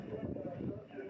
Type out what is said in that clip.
Təyyarənin səsi imiş.